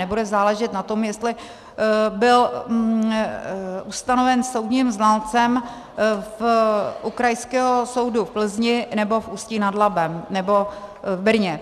Nebude záležet na tom, jestli byl ustanoven soudním znalcem u Krajského soudu v Plzni, nebo v Ústí nad Labem, nebo v Brně.